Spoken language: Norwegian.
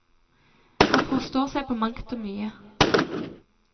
Han forstår seg på mangt og mye.